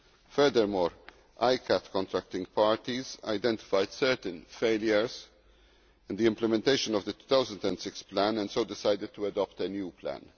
Furthermore, ICCAT contracting parties identified certain failures in the implementation of the 2006 plan and so decided to adopt a new plan.